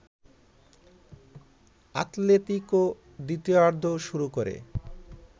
Atletico দ্বিতীয়ার্ধও শুরু করে